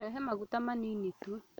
Rehe maguta manini tu